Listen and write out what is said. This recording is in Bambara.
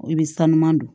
I bɛ sanuya don